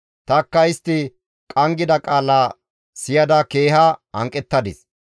Tanikka istti qanggida qaala siyada keeha hanqettadis.